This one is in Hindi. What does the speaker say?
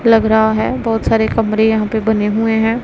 लग रहा है बहोत सारे कमरे यहां पे बने हुए हैं।